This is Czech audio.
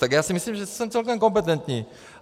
Tak já si myslím, že jsem celkem kompetentní.